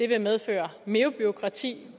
vil medføre mere bureaukrati